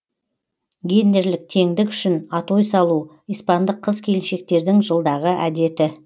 гендерлік теңдік үшін атой салу испандық қыз келіншектердің жылдағы әдеті